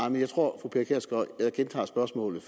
jeg tror at jeg gentager spørgsmålet